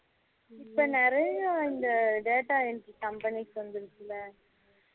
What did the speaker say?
இப்போ நிறைய இந்த data entry companies வந்துருச்சுல